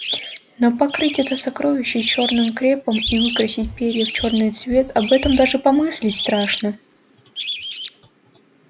но покрыть это сокровище чёрным крепом и выкрасить перья в чёрный цвет об этом даже помыслить страшно